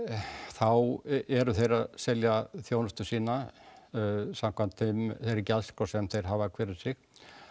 þá eru þeir að selja þjónustu sína smakvæmt þeirri gjaldskrá sem þeir hafa hver um sig